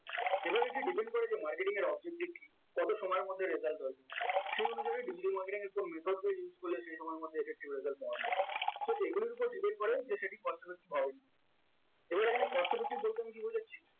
এবার এটি depend করে যে marketing এর objective কি কত সময়ের মধ্যে result আসবে সেই অনুযায়ী digital marketing এর কোন method টা use করলে effective result পাওয়া so এইগুলোর উপর depend করে যে সেটি cost effective এবার এখানে cost effective বলতে আমি কি বোঝাচ্ছি?